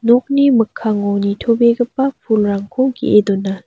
nokni mikkango nitobegipa pulrangko ge·e dona.